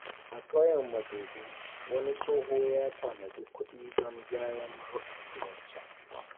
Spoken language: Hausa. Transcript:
Mutane da yawa suna yanke kuɗi daga albashinsu don ajiya ta gaggawa.